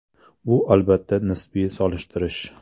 Bu, albatta, nisbiy solishtirish.